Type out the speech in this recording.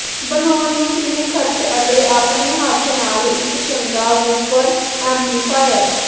ਬਣਾਉਣ ਲਈ ਕਿੰਨੇ ਖਰਚ ਅਤੇ ਆਪਣੇ ਹੱਥ ਨਾਲ ਇੱਕ ਚੰਗਾ ਵੂਫ਼ਰ ਐਮਪਲੀਫਾਇਰ